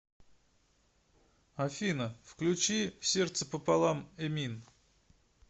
афина включи сердце пополам эмин